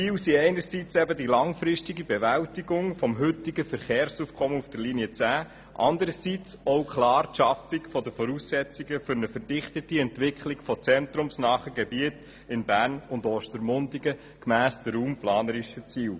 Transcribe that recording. Die Ziele sind einerseits die langfristige Bewältigung des heutigen Verkehrsaufkommens auf der Linie 10, anderseits klar die Schaffung der Voraussetzungen für eine verdichtete Entwicklung von zentrumsnahen Gebieten in Bern und Ostermundigen gemäss den raumplanerischen Zielen.